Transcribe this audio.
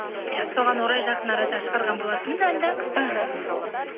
иә соған орай жақын арада шығарған болатынмын әнді іхі